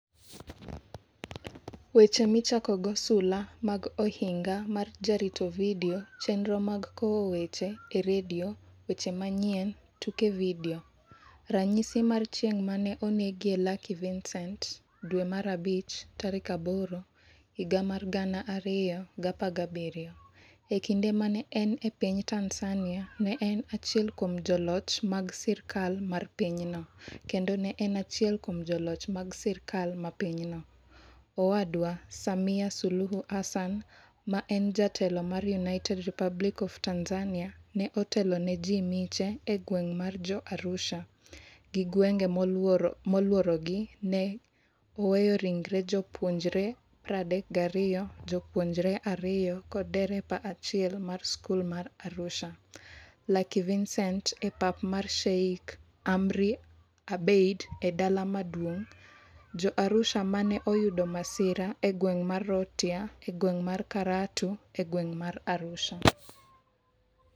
Weche Michakogo Sula mag Ohinga mar Jarito Vidio Chenro mag Kowo Weche e redio Weche Manyien tuke Vidio Ranyisi mar Chieng' ma ne onegie Lucky Vicent May 8, 2017 E kinde ma ne en e piny Tanzania, ne en achiel kuom joloch mag sirkal mar pinyno, kendo ne en achiel kuom joloch mag sirkal mar pinyno. Owadwa Samia Suluhu Hassan, ma en jatelo mar United Republic of Tanzania, ne otelo ne ji miche e gweng ' mar Jo-Arusha gi gwenge molworogi ne oweyo ringre jopuonjre 32, jopuonjre ariyo kod dereba achiel mar skul ma Arusha. Lucky Vicent e pap mar Sheikh Amri Abeid e Dala Maduong' Jo-Arusha ma ne oyudo masira e gweng' mar Rhotia e gweng' mar Karatu e gweng' mar Arusha.